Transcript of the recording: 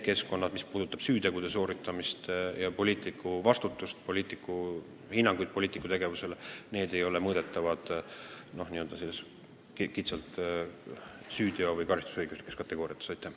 Aga mis puudutab süütegude toimepanemist ja poliitiku vastutust, hinnanguid poliitiku tegevusele, siis loomulikult need ei ole mõõdetavad kitsalt süütegude või üldse karistusõiguslike kategooriate alusel.